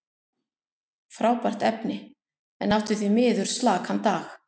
Frábært efni, en átti því miður slakan dag.